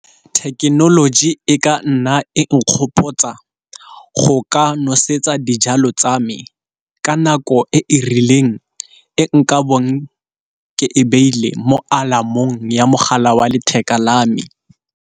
Thekenoloji e ka nna e nkgopotsa go ka nosetsa dijalo tsa me ka nako e rileng e nka bong ke e beile mo alarm-ong ya mogala wa letheka la me.